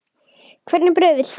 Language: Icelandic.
Hvernig brauð viltu?